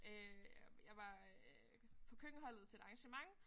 Øh jeg var øh på køkkenholdet til et arrangement